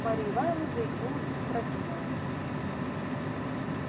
марья ивановна заикнулась и покраснела